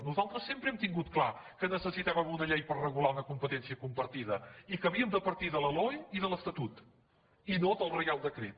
nosaltres sempre hem tingut clar que necessitàvem una llei per regular una competència compartida i que havíem de partir de la loe i de l’estatut i no del reial decret